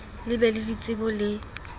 le be le ditsebo le